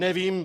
Nevím.